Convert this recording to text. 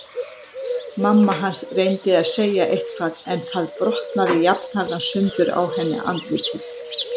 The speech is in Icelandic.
Mamma hans reyndi að segja eitthvað en það brotnaði jafnharðan sundur á henni andlitið.